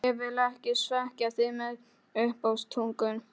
Ég vil ekki svekkja þig með uppástungum.